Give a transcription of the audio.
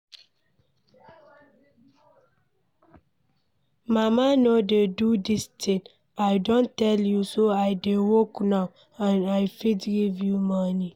Mama no dey do dis thing, I don tell you say I dey work now and I fit give you money